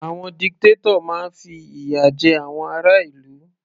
Àwọn dictator máa fi ìyà jẹ àwọn ará ìlú.